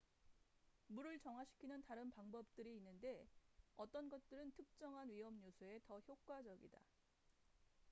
물을 정화시키는 다른 방법들이 있는데 어떤 것들은 특정한 위험요소에 더 효과적이다